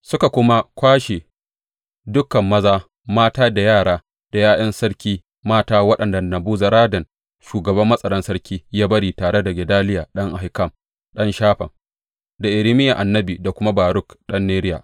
Suka kuma kwashe dukan maza, mata da yara da ’ya’yan sarki mata waɗanda Nebuzaradan shugaban matsaran sarki ya bari tare da Gedaliya ɗan Ahikam, ɗan Shafan, da Irmiya annabi da kuma Baruk ɗan Neriya.